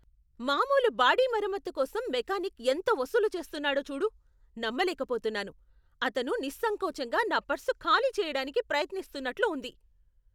మామూలు బాడీ మరమ్మతు కోసం మెకానిక్ ఎంత వసూలు చేస్తున్నాడో చూడు, నమ్మలేకపోతున్నాను! అతను నిస్సంకోచంగా నా పర్సు ఖాళీ చేయడానికి ప్రయత్నిస్తున్నట్లు ఉంది!